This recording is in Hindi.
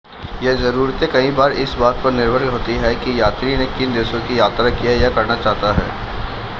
ये ज़रूरतें कई बार इस बात पर निर्भर होती हैं कि यात्री ने किन देशों की यात्रा की है या करना चाहता है